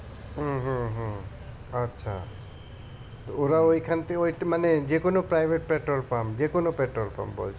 হম হম হম আচ্ছা ওরা ওইখান থেকে একটু মানে যেকোনো private petrol pump যেকোনো petrol pump বলছো